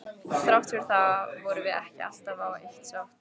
Þrátt fyrir það vorum við ekki alltaf á eitt sátt.